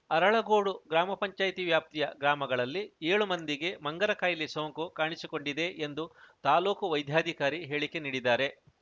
ಅರಳಗೋಡು ಗ್ರಾಮ ಪಂಚಾಯತಿ ವ್ಯಾಪ್ತಿಯ ಗ್ರಾಮಗಳಲ್ಲಿ ಏಳು ಮಂದಿಗೆ ಮಂಗನ ಕಾಯಿಲೆ ಸೋಂಕು ಕಾಣಿಸಿಕೊಂಡಿದೆ ಎಂದು ತಾಲೂಕು ವೈದ್ಯಾಧಿಕಾರಿ ಹೇಳಿಕೆ ನೀಡಿದ್ದಾರೆ